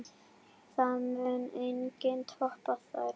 Það mun enginn toppa þær.